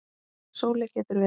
Sóley getur verið